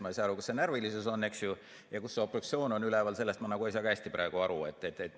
Ma ei saa aru, kus see närvilisus on, eks ju, ja kus see obstruktsioon on üleval, sellest ma ei saa ka praegu hästi aru.